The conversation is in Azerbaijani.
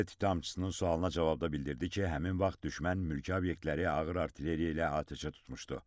Dövlət ittihamçısının sualına cavabda bildirdi ki, həmin vaxt düşmən mülki obyektləri ağır artilleriya ilə atəşə tutmuşdu.